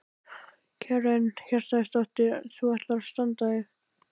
Karen Kjartansdóttir: Þú ætlar að standa þig?